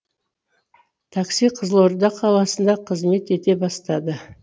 такси қызылорда қаласында қызмет ете бастады